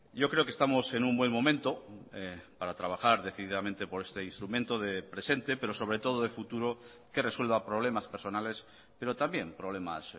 yo creo que estamos en un buen momento para trabajar decididamente por este instrumento de presente pero sobre todo de futuro que resuelva problemas personales pero también problemas